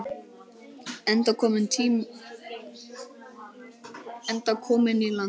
Enda kominn í land.